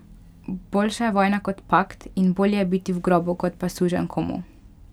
Boljša je vojna kot pakt in bolje je biti v grobu kot pa suženj komu!